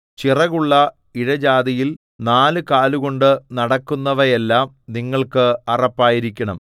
ചിറകുള്ള ഇഴജാതിയിൽ നാലുകാലുകൊണ്ടു നടക്കുന്നവയെല്ലാം നിങ്ങൾക്ക് അറപ്പായിരിക്കണം